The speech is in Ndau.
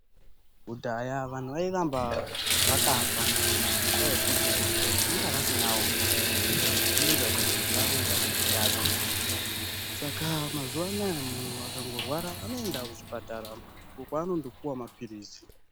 Kudhaya vanhu vairamba vakafa , ngendaa yekuti vanga vasinawo maphirizi kuti vave vane hutano. Saka mazuwa anaya munhu akangorwara anoenda kuchipatara uko anondopuwa maphirizi.